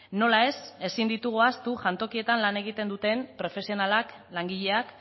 nola ez ezin ditugu ahaztu jantokietan lan egiten duten profesionalak langileak